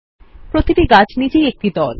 প্রতিটি গাছ নিজেই একটি দল